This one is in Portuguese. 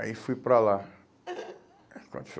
Aí fui para lá. Quando